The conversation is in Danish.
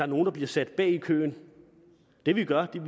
nogle bliver sat bag i køen det vi gør er